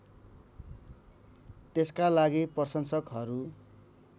त्यसका लागि प्रशंसकहरू